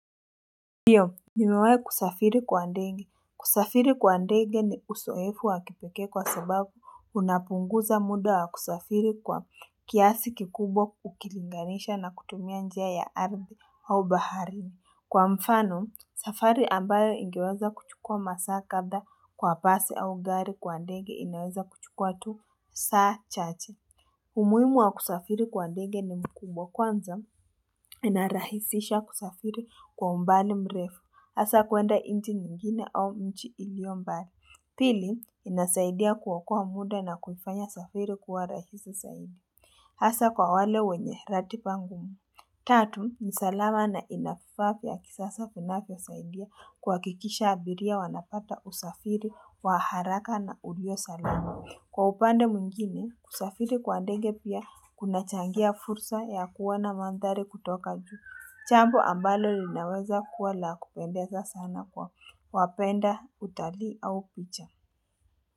Ndiyo, nimewai kusafiri kwa ndege, kusafiri kwa ndege ni uzoefu wa kipikee kwa sababu unapunguza muda wa kusafiri kwa kiasi kikubwa ukilinganisha na kutumia njia ya ardhi au baharini. Kwa mfano, safari ambayo ingeweza kuchukua masaa kadhaa kwa basi au gari, kwa ndege inaweza kuchukua tu saa chache umuhimu wa kusafiri kwa ndege ni mkubwa, kwanza inarahisisha kusafiri kwa umbali mrefu, hasaa kuenda nchi nyingine au mji ilio mbali. Pili, inasaidia kuokoa muda na kuifanya safiri kwa rahisi zaidi. Hasaa kwa wale wenye ratiba ngumu. Tatu, ni salama na inavifaa vya kisasa vinavyosaidia kuhakikisha abiria wanapata usafiri wa haraka na uliyo salama. Kwa upande mwingine, kusafiri kwa ndege pia kunachangia fursa ya kuona mandhari kutoka juu. Jambo ambalo linaweza kuwa la kupendeza sana kwa wapenda utalii au picha.